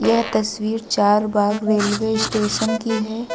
यह तस्वीर Charbagh railway station की है।